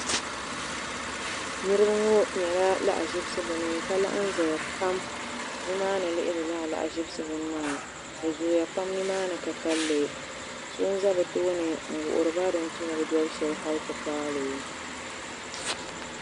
Niriba ŋɔ nyala lahaʒibisi bini ka laɣim ʒeya pam nimaa ni n lihiri li bɛ zooya pam nimaa ni ka ka kanli so n za bɛ tooni n wuhiriba hali ti paali.